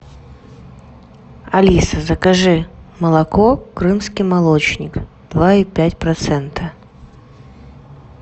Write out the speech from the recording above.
алиса закажи молоко крымский молочник два и пять процента